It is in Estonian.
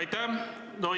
Aitäh!